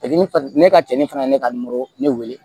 Fitini fana ne ka cɛncɛn fana ye ne ka ne weele